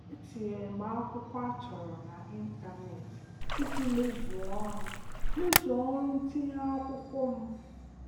E tinyere m akwụkwọ a chọrọ n'ịntaneetị iji mezuo ọrụ mezuo ọrụ ntinye akwụkwọ m.